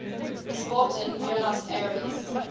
sport in buenos aires